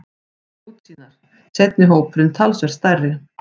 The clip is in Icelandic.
Útsýnar, seinni hópurinn talsvert stærri.